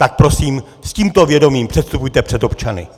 Tak prosím, s tímto vědomím předstupujte před občany.